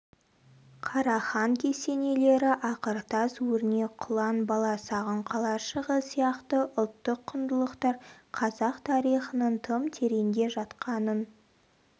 қарахан кесенелері ақыртас өрнек құлан баласағұн қалашығы сияқты ұлттық құндылықтар қазақ тарихының тым тереңде жатқанын